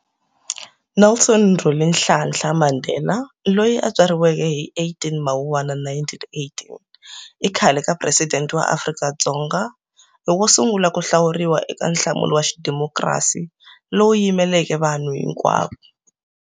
Nelson Rolihlahla Mandela, loyi a tswariweke hi 18 Mawuwana 1918, i khale ka Peresidende wa Afrika-Dzonga, i wo sungula ku hlawuriwa eka nhlawulo wa xidemokhirasi lowu yimeleka vanhu hinkwavo.